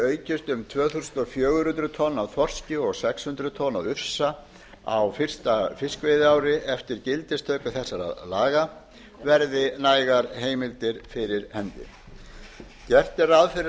strandveiðihluti aukist um fjögur hundruð tonn af þorski og sex hundruð tonn af ufsa á fyrsta fiskveiðiári eftir gildistöku þessara laga verði nægar heimildir fyrir hendi gert er ráð fyrir